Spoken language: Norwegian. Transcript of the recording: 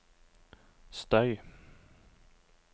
støy